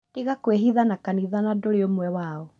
Tiga kwĩhitha na kanitha na ndũri omwe wao